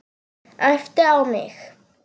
Æpti á mig.